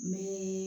N bɛ